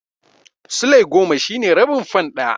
Sulai goma shine rabin fan ɗaya.